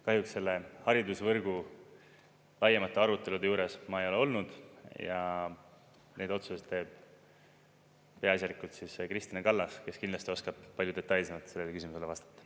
Kahjuks haridusvõrgu laiemate arutelude juures ma ei ole olnud ja neid otsuseid teeb peaasjalikult Kristina Kallas, kes kindlasti oskab palju detailsemalt sellele küsimusele vastata.